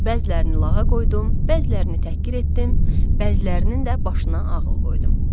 Bəzilərini lağa qoydum, bəzilərini təhqir etdim, bəzilərinin də başına ağıl qoydum.